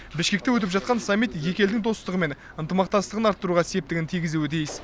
бішкекте өтіп жатқан саммит екі елдің достығы мен ынтымақтастығын арттыруға септігін тигізуі тиіс